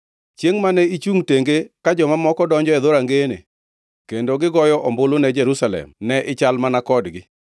Chiengʼ mane ichungʼ tenge ka joma moko donjo e dhorangeyene, kendo gigoyo ombulu ne Jerusalem, ne ichal mana kodgi.